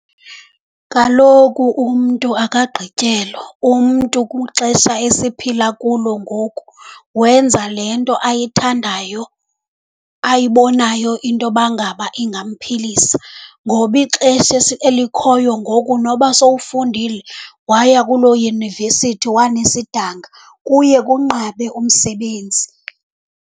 Kaloku umntu akagqityelwa. Umntu kwixesha esiphila kulo ngoku wenza le nto ayithandayo, ayibonayo into yoba ngaba ingamphilisa. Ngoba ixesha elikhoyo ngoku noba sowufundile waya kuloo yunivesithi wanesidanga, kuye kunqabe umsebenzi.